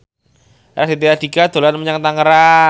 Raditya Dika dolan menyang Tangerang